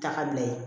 Ta ka bila yen